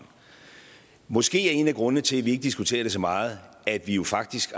måske er en af grundene til at vi ikke diskuterer det så meget at vi jo faktisk